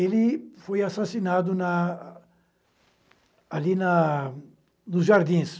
Ele foi assassinado na... ali na... nos Jardins.